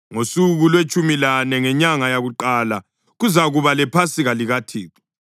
“ ‘Ngosuku lwetshumi lane ngenyanga yakuqala kuzakuba lePhasika likaThixo.